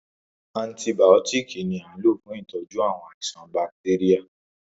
Antìbiótiiki ni a n lò fún ìtọ́jú àwọn àìsàn bacteria.